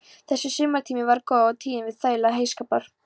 Þessi sumartími var góður og tíðin var þægileg til heyskapar.